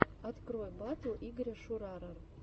открой батл игоря шурара